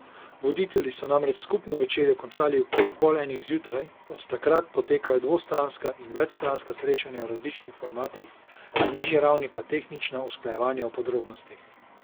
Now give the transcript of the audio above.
Voditelji so namreč skupno večerjo končali okoli pol enih zjutraj, od takrat potekajo dvostranska in večstranska srečanja v različnih formatih, na nižji ravni pa tehnična usklajevanja o podrobnostih.